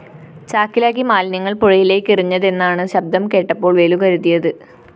ചാക്കിലാക്കി മാലിന്യങ്ങള്‍ പുഴയിലേക്കെറിഞ്ഞതെന്നാണ് ശബ്ദം കേട്ടപ്പോള്‍ വേലു കരുതിയത്